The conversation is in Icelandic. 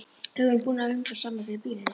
Við erum búin að öngla saman fyrir býlinu.